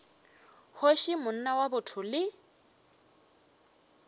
kgoši monna wa botho le